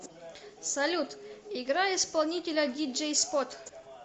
салют играй исполнителя диджей спот